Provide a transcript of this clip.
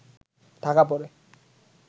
ঢাকা পড়ে